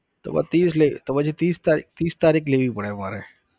તો પછી ત્રીસ લેવી તો પછી ત્રીસ તારીખ ત્રીસ તારીખ લેવી પડે મારે.